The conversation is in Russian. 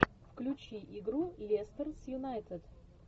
включи игру лестер с юнайтед